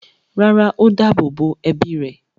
rárá, ó dáàbò bo ẹbí rẹ̀.